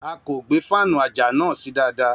A kò gbé fáànù àjà náà sí dáadáa.